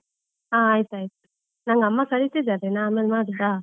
ಹಾ ಆಯ್ತಾಯ್ತು, ನಂಗೆ ಅಮ್ಮ ಕರೀತಿದ್ದಾರೆ, ನಾನ್ ಆಮೇಲ್ ಮಾಡೋದಾ?